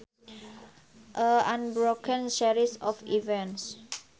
A unbroken series of events